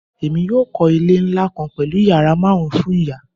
Emi yoo kọ ile nla kan pẹlu yara marun fun iya